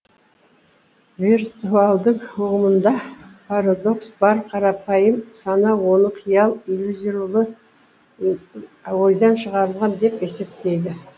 виртуалдың ұғымында парадокс бар қарапайым сана оны қиял иллюзорлы ойдан шығарылған деп есептейді